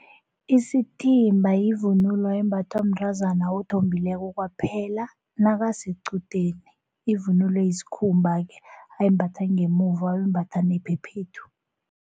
Isithimba yivunulo embathwa mntazana othombileko kwaphela nakasequdeni, ivunulo yisikhumba-ke ayimbatha ngemuva ayimbatha nephephethu.